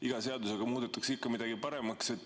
Iga seadusega muudetakse ikka midagi paremaks.